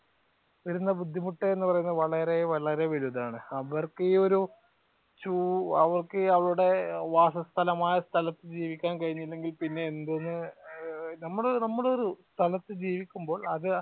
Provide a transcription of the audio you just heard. വരുന്ന ബുദ്ധിമുട്ട് എന്ന് പറയുന്നത് വളരെ വളരെ വലുതാണ്. അവർക്ക് ഈ ഒരു അവർക്കു അവരടെ വാസസ്ഥലമായ സ്ഥലത്തു കഴിഞ്ഞില്ലെങ്കിൽ പിന്നെ എന്തിന് നമ്മൾ നമ്മൾ ഒരു സ്ഥലത്തു ജീവിക്കുമ്പോൾ അത്